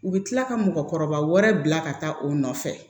U bɛ tila ka mɔgɔkɔrɔba wɛrɛ bila ka taa o nɔfɛ